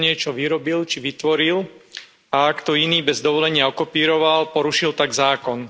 Niekto niečo vyrobil, či vytvoril a ak to iný bez dovolenia okopíroval, porušil tak zákon.